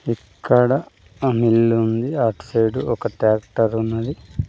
ఇక్కడ ఆ మిల్ ఉంది అట్ సైడ్ ఒక ట్రాక్టర్ ఉంది.